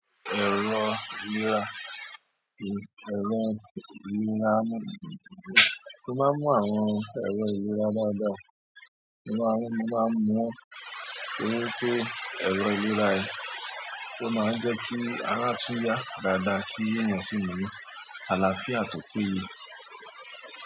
Èrò ìlera, èrò ìlera. Mó máa ń mú àwọn èrò ìlera dáadáa, ó máa ń mo máa n mú won to ri wípé èrò ìlera yẹn, ó máa ń jẹ́ kí ara tún yá dáadáa kí ènìyàn sì ní àlàáfíà tó péye.